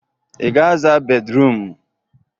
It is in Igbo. Ị ga-aza bédrụum?